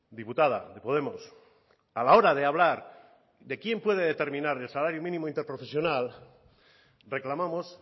diputada de podemos a la hora de hablar de quién puede determinar el salario mínimo interprofesional reclamamos